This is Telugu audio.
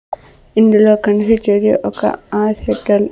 ఇందులో కనిపిచ్చేది ఒక ఆస్పిటల్ .